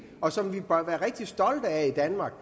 og som vi bør være rigtig stolte af i danmark